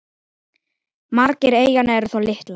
Margar eyjanna eru þó litlar.